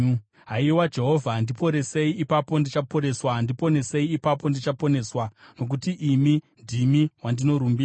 Haiwa Jehovha, ndiporesei, ipapo ndichaporeswa; ndiponesei, ipapo ndichaponeswa, nokuti imi ndimi wandinorumbidza.